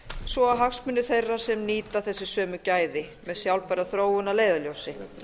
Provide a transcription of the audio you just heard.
svo og hagsmuna þeirra sem nýta þessi sömu gæði með sjálfbæra þróun að leiðarljósi